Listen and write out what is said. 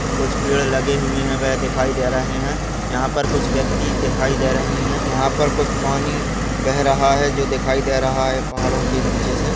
कुछ पेड़ लगे हुए है वे दिखाई दे रहे है यहा पर कुछ व्यक्ति दिखाई दे रहे है यहा पर कुछ पानी बेह रहा है जो दिखाई दे रहा है पहाड़ों के नीचे से।